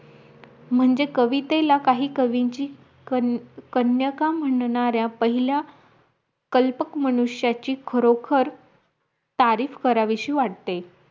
म्हणजे कवितेला काही कवींची कन्य कन्यका म्हणणारा पहिला कल्पक मनुष्याची खरोखर तारीफ करावीशी वाटते